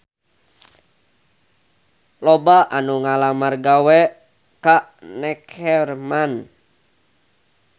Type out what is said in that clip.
Loba anu ngalamar gawe ka Neckerman